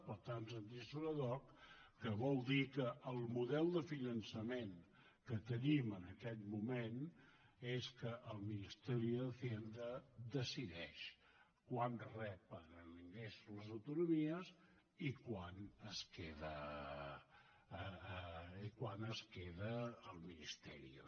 per tant els interessos ad hocque el model de finançament que tenim en aquest moment és que el ministerio de hacienda decideix quant reben d’ingrés les autonomies i quant es queda el ministerio